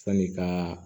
Sani ka